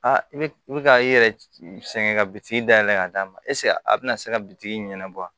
Aa i bɛ i bɛ ka i yɛrɛ sɛgɛn ka bitigi da yɛlɛ k'a d'a ma eseke a bɛna se ka bitigi in ɲɛnabɔ wa